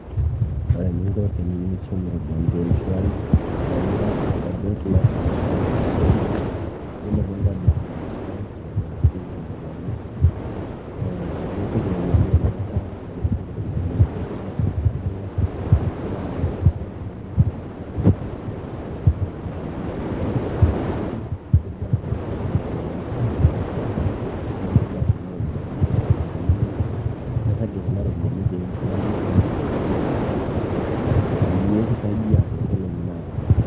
ore eninko teniyieu nishum iropiyiani te mshwari naa ing'as aitobirr lock and account mshwari yiolo piintobirr ina account nailokieki iropiyiani eh, nipik iropiyiani mpesa yiolo piipik iropiyiani mpesa nilo enaduo wueji nigero send money kwa mshwari ashu tipika iropiyiani mshwari nipik nigelu ajo kebaa esiana ashu enkata niyieu nilok kuna ropiyiani ashua niyieu nirragie kuna ropiyiani te mshwari piindim aitumiyia peyie kisaidia toonkolong'i naaponu.